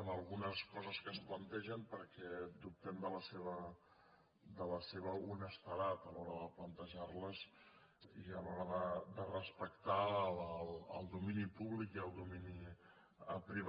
en algunes coses que es plantegen perquè dubtem de la seva honestedat a l’hora de plantejar les i a l’hora de respectar el domini públic i el domini privat